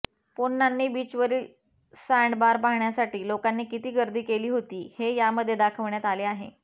पोन्नानी बीचवरील सँडबार पाहण्यासाठी लोकांनी किती गर्दी केली होती हे यामध्ये दाखवण्यात आले आहे